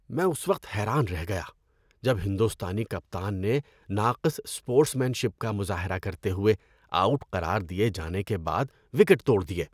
میں اس وقت حیران رہ گیا جب ہندوستانی کپتان نے، ناقص اسپورٹس مین شپ کا مظاہرہ کرتے ہوئے، آؤٹ قرار دیے جانے کے بعد وکٹ توڑ دیے۔